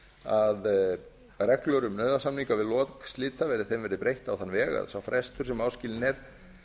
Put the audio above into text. að reglur um nauðasamninga við lok slita verði breytt á þann veg að sá frestur sem áskilinn er